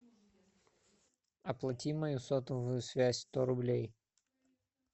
оплати мою сотовую связь сто рублей